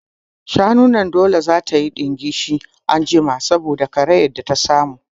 Shanun nan dole za tayi ɗingishi anjima saboda karayar da ta samu